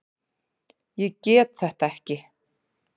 Ég get þetta ekki.